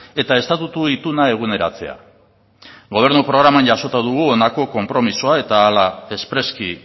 eta estatutu ituna eguneratzea gobernu programan jasota dugu honako konpromisoa eta hala espreski